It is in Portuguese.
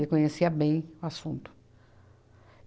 Ele conhecia bem o assunto.